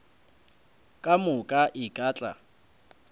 ka moka e ka tla